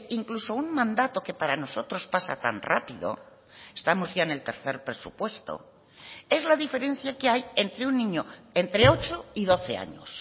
incluso un mandato que para nosotros pasa tan rápido estamos ya en el tercer presupuesto es la diferencia que hay entre un niño entre ocho y doce años